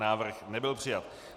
Návrh nebyl přijat.